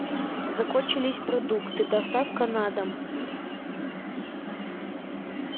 закончились продукты доставка на дом